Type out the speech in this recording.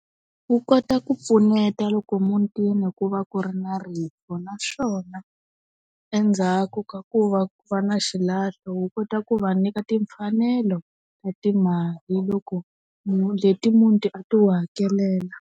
Wu kota ku pfuneta loko mutini ku va ku ri na rifu naswona, endzhaku ka ku va ku va na xilahlo wu kota ku va nyika timfanelo, ta timali loko leti muti a ti wu hakelela.